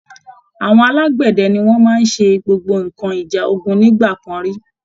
Àwọn alágbẹ̀dẹ ni wọ́n máa ń ṣe gbogbo nǹkan ìjà ogun nígbà kan rí